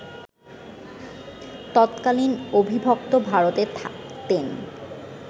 তৎকালীন অবিভক্ত ভারতে থাকতেন